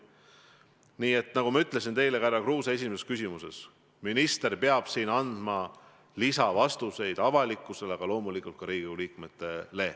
Nii et nagu ma teile, härra Kruuse, esimese küsimuse puhul vastasin, peab minister andma selles asjas lisavastuseid avalikkusele ja loomulikult ka Riigikogu liikmetele.